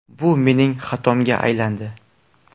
Bu mening xatomga aylandi.